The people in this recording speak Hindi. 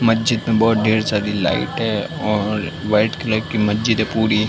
महजीद में बहुत ढेर सारी लाईटे और कलर की महजीद है पूरी।